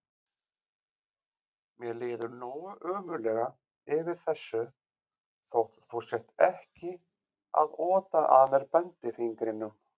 Mér líður nógu ömurlega yfir þessu þótt þú sért ekki að ota að mér bendifingrinum.